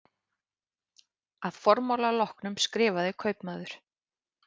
Að formála loknum skrifaði kaupmaður